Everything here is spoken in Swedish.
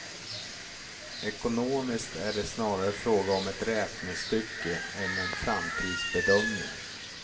Ekonomiskt är det snarare fråga om ett räknestycke än en framtidsbedömning.